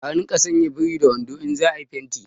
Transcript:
A rinƙa sanya birin da wando in za a yi fenti